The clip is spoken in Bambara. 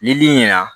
Nili ɲɛna